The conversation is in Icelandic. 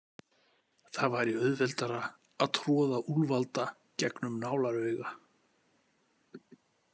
Það væri auðveldara að troða úlfalda gegnum nálarauga.